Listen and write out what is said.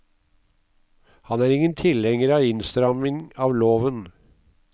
Han er ingen tilhenger av innstramning av loven.